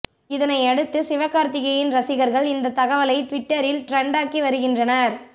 இதனை அடுத்து சிவகார்த்திகேயன் ரசிகர்கள் இந்த தகவலை ட்விட்டரில் ட்ரெண்டாக்கி வருகின்றனர்